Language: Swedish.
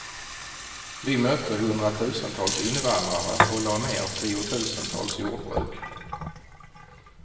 Vi mötte hundratusentals invandrare och lade ner tiotusentals jordbruk.